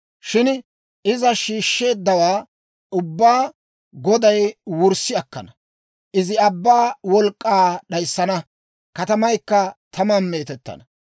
Shin iza shiishsheeddawaa ubbaa Goday wurssi akkana; izi abbaa wolk'k'aa d'ayssana; katamaykka taman meetettana.